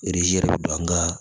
yɛrɛ bɛ don an ka